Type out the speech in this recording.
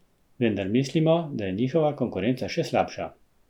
Vendar mislimo, da je njihova konkurenca še slabša.